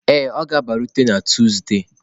Ee, ọ ga-abịarute na Tuzdee.